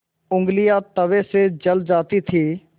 ऊँगलियाँ तवे से जल जाती थीं